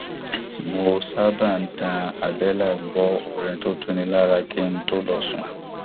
mo sábà ń tan àbẹlà gbọ orin tó tuni lára kí n tó lọ sùn